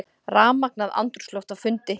Rafmagnað andrúmsloft á fundi